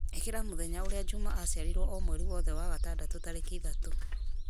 ĩkĩra mũthenya ũrĩa juma aciarirwo o mweri wothe wa gatandatũ tarĩki ithatũ